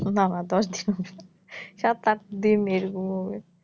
না না দশ দিন হবে না সাত আট দিন এরকম হবে